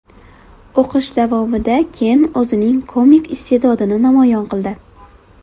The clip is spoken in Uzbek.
O‘qish davomida Ken o‘zining komik iste’dodini namoyon qildi.